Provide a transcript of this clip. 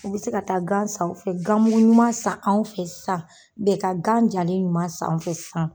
U be se ka taa gan san u fɛ, gamugu ɲuman san anw fɛ san, u bɛ ka gan jalen ɲuman s'anw fɛ san.